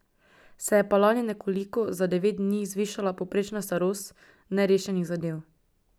Se je pa lani nekoliko, za devet dni, zvišala povprečna starost nerešenih zadev.